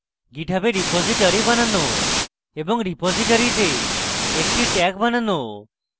github a repository বানানো এবং রিপোজিটরীতে একটি tag বানানো